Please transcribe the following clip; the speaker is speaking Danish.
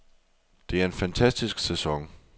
Det er en fantastisk sæson.